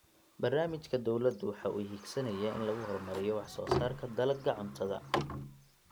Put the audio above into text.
Barnaamijka dawladdu waxa uu higsanayaa in lagu horumariyo wax soo saarka dalagga cuntada.